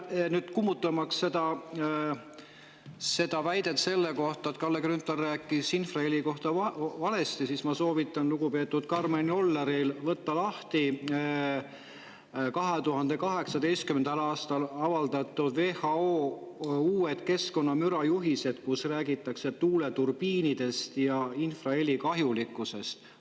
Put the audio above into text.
Kummutamaks väidet, et Kalle Grünthal rääkis infraheli kohta valet, soovitan ma lugupeetud Karmen Jolleril võtta lahti WHO 2018. aasta keskkonnamüra, kus räägitakse tuuleturbiinidest ja infraheli kahjulikkusest.